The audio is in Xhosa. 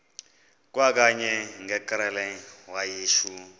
kwakanye ngekrele wayishu